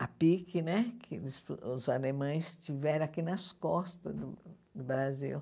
A PIC né, que os os alemães tiveram aqui nas costas do Brasil.